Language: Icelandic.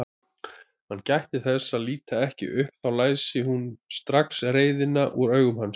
Hann gætti þess að líta ekki upp, þá læsi hún strax reiðina úr augum hans.